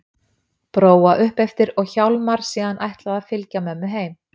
Bróa upp eftir og Hjálmar síðan ætlað að fylgja mömmu heim.